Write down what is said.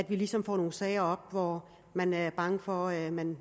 ligesom får nogle sager hvor man er bange for at man